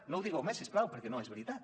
no ho digueu més si us plau perquè no és veritat